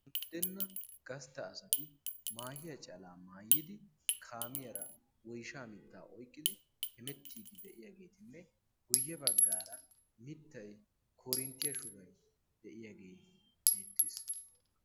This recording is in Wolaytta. unddenna gastta asati maahiya calaa maayyidi kaamiyaara woysha mittaa oyqqidi hemettiidi de'iyaageetinne guyye baggaara mittai korinttiyaa shubay de'iyaagee beettiis